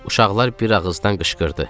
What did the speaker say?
Uşaqlar bir ağızdan qışqırdı.